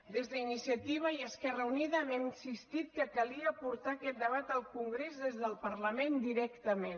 des d’iniciativa i esquerra unida hem insistit que calia portar aquest debat al congrés des del parlament directament